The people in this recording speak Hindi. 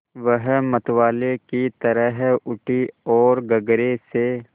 वह मतवाले की तरह उठी ओर गगरे से